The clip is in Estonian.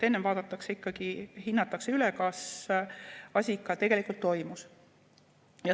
Enne vaadatakse ikkagi üle ja hinnatakse, kas asi ikka tegelikult toimus.